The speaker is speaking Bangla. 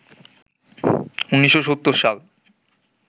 ১৯৭০ সাল